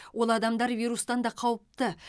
ол адамдар вирустан да қауіпті